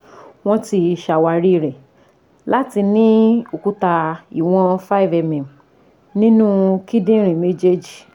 Wọ́n ti ṣàwárí rẹ láti ní òkúta ìwọ̀n 5 mm nínú kíndìnrín méjèèjì